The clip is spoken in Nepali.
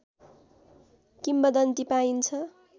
किंवदन्ती पाइन्छ